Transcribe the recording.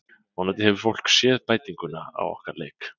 Vonandi hefur það fólk séð bætinguna á okkar leik.